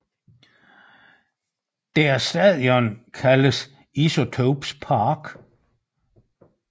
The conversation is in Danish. Deres stadion er kaldet Isotopes Park